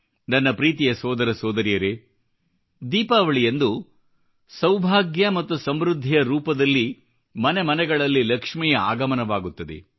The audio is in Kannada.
ನನ್ನ ಪ್ರೀತಿಯ ಸೋದರ ಸೋದರಿಯರೇ ದೀಪಾವಳಿಯಂದು ಸೌಭಾಗ್ಯ ಮತ್ತು ಸಮೃದ್ಧಿಯ ರೂಪದಲ್ಲಿ ಮನೆ ಮನೆಗಳಲ್ಲಿ ಲಕ್ಷ್ಮಿಯ ಆಗಮನವಾಗುತ್ತದೆ